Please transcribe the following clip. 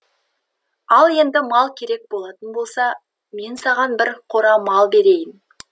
ал енді мал керек болатын болса мен саған бір қора мал берейін